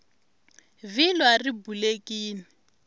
vhilwa ri bulekini